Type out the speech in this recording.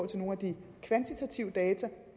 til nogle af de kvantitative data